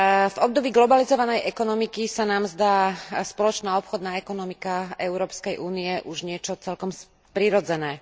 V období globalizovanej ekonomiky sa nám zdá spoločná obchodná ekonomika Európskej únie už niečo celkom prirodzené.